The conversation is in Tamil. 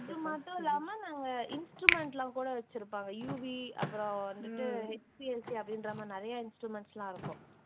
இது மட்டுமில்லாம நாங்க instrument எல்லாம் கூட வச்சிருப்பாங்க UV அப்புறம் வந்துட்டு அப்படின்ற மாதிரி நிறைய instruments எல்லாம் இருக்கும்